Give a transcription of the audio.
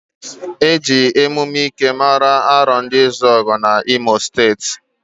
Eji emume ikejii mara ndị Arondizuoguuu na imo steeti.